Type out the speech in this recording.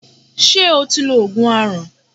Ṣé o ti lo Ògùn aràn?